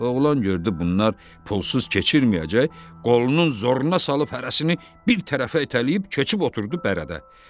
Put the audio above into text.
Oğlan gördü bunlar pulsuz keçirməyəcək, qolunun zoruna salıb hərəsini bir tərəfə itələyib keçib oturdu bərədə.